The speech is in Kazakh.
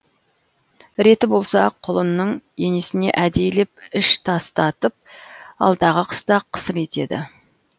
реті болса құлынның енесіне әдейілеп іш тастатып алдағы қыста қысыр етеді